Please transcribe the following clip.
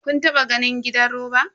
Kun taba ganin gidan roba?